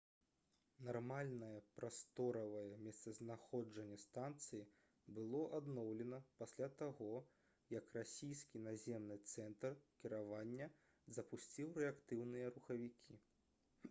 нармальнае прасторавае месцазнаходжанне станцыі было адноўлена пасля таго як расійскі наземны цэнтр кіравання запусціў рэактыўныя рухавікі